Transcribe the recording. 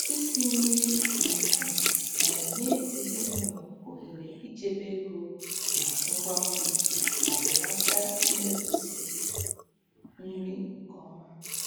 Isi nri n'ukwu na-enye ezinụlọ ohere ichebe ego na ngwa nri ma belata imefusi nri nke ọma.